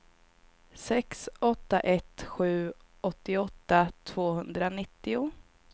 sex åtta ett sju åttioåtta tvåhundranittio